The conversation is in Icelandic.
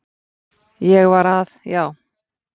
Ég var að Já.